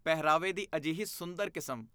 ਪਹਿਰਾਵੇ ਦੀ ਅਜਿਹੀ ਸੁੰਦਰ ਕਿਸਮ!